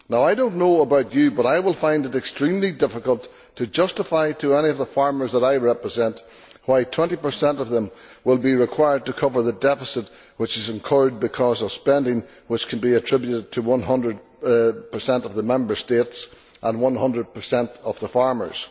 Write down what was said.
Now I do not know about you, but I would find it extremely difficult to justify to any of the farmers that I represent why 20 of them will be required to cover the deficit which is incurred because of spending which could be attributed to 100 of the Member States and 100 of the farmers.